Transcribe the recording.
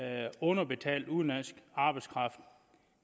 af underbetalt udenlandsk arbejdskraft